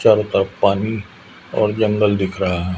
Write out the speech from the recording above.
चारो तरफ पानी और जंगल दिख रहा--